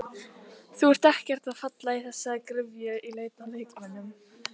Þú ert ekkert að falla í þessa gryfju í leit að leikmönnum?